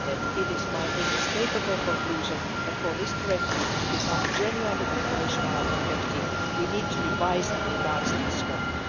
It is my inescapable conclusion that for this directive to become genuinely operational and effective, we need to revise and enlarge its scope.